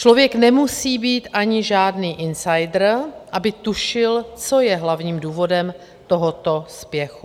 Člověk nemusí být ani žádný insider, aby tušil, co je hlavním důvodem tohoto spěchu.